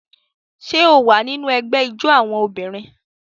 Ṣé o wà nínú ẹgbẹ́ ijó àwọn obìnrin?